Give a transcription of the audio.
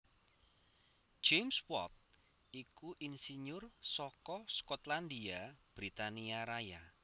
James Watt iku insinyur saka Skotlandia Britania Raya